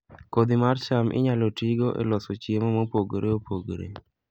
Kodhi mar cham inyalo tigo e loso chiemo mopogore opogore